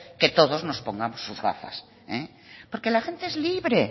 que todos nos pongamos sus gafas porque la gente es libre